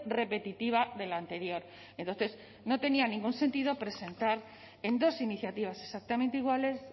repetitiva de la anterior entonces no tenía ningún sentido presentar en dos iniciativas exactamente iguales